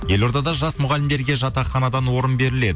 елордада жас мұғалімерге жатақханадан орын беріледі